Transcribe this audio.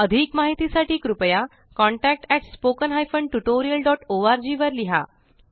अधिक माहिती साठी कृपया contactspoken tutorialorg वर लिहा